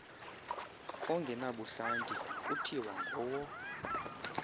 ongenabuhlanti kuthiwa ngowo